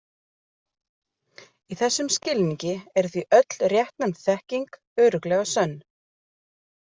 Í þessum skilningi er því öll réttnefnd þekking örugglega sönn.